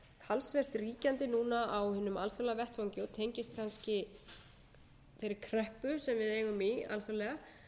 talsvert ríkjandi núna á hinum alþjóðlega vettvangi og tengist kannski þeirri kreppu sem við eigum í alþjóðlega